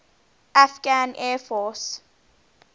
afghan air force